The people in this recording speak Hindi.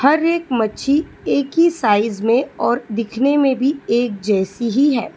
हर एक मच्छी एक ही साइज में और दिखने में भी एक जैसी ही है।